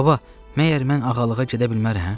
Baba, məyər mən ağalığa gedə bilmərəm?